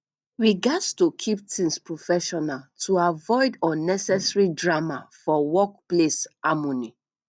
we gats to keep things professional to avoid unnecessary drama for workplace harmony